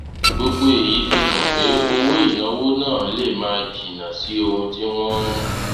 gbogbo èyí fi hàn pé owó ìnáwó náà lè máa jìnnà sí ohun tí wón ń